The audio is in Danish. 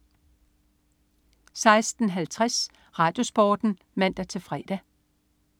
16.50 RadioSporten (man-fre)